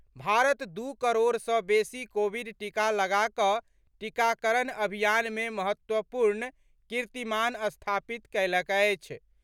भारत दू करोड़ सॅ बेसी कोविड टीका लगा कऽ टीकाकरण अभियान मे महत्वपूर्ण कीर्तिमान स्थापित कयलक अछि।